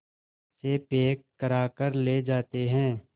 से पैक कराकर ले जाते हैं